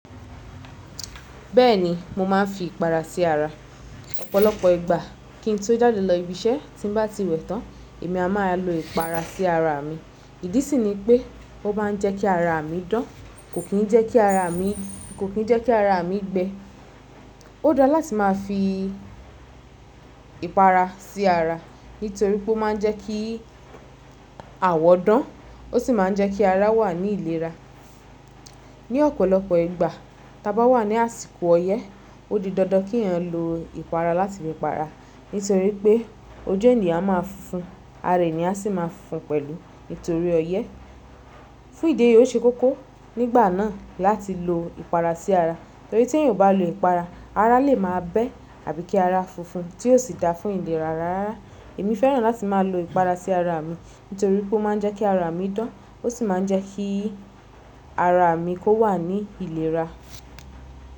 Bẹ́ẹ̀ni mo máà ń fi ìpara sí ara ọ̀pọ̀lọpọ̀ ìgbà. Kí n tó jáde lọ ibiṣẹ́ tí n bá ti wẹ̀ tán, èmi a máa lo ìpara sí ara mi. Ìdí sì ni pé ó máa ń jẹ́ kí ara mi dán kò kín ń jẹ́ kí ara mi, kò kín ń jẹ́ kí ara mi gbẹ. Ó dára láti máa fi ìpara sí ara nítorí pé ó máa ń jẹ́ kí àwọ̀ dán ó sì máa ń jẹ́ kí ara wà ní ìlera. Ni ọ̀pọ̀lọpọ̀ ìgbà tí a bá wà ní àsìkò ọyẹ́, ó di dandan kí ẹ̀yàn lo ìpara láti fí para, nítorí pé ojú ènìyàn a máa funfun, ara ènìyàn a sì máa funfun pẹ̀lú nítorí ọyẹ́. Fún ìdí èyí ó ṣe kókó nígbà náà láti lo ìpara sí ara torí tí èyí ò bá lo ìpara ara lè máa bẹ́ àbí kí ara funfun tí ò sì dà fún ìlera ara rárá. Èmi fẹ́ràn láti máa lo ìpara sí ara mi nítorí pé ó máa ń jẹ́ kí ara mi dán ó sì máa ń jẹ́ kí ara mi kó wà ní ìlera.